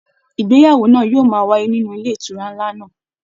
Ìgbéyàwó náà yóò máa wáyé nínú ilé ìtura nlá náà.